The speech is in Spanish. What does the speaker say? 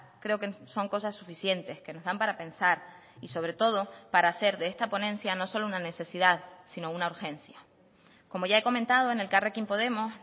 creo que son cosas suficientes que nos dan para pensar y sobre todo para hacer de esta ponencia no solo una necesidad sino una urgencia como ya he comentado en elkarrekin podemos